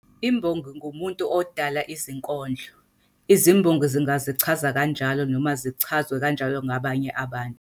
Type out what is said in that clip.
Imbongi ngumuntu odala izinkondlo. Izimbongi zingazichaza kanjalo noma zichazwe kanjalo ngabanye abantu.